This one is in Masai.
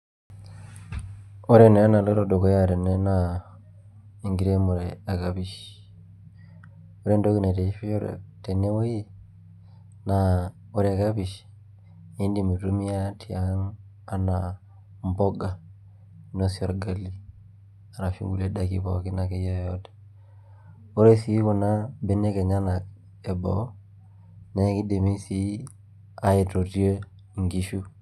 Ore naa enaloito dukuya tene naa enkiremore ekapish ore entoki naitishipisho tenewuei naa ore kapish niidim aitumia tiang' enaa mbuka ainosie orga;i ashu kuhlie daikin akeyie yeyote. Ore sii kuna benek enyenak eboo naa kidimi sii aitotie nkishu.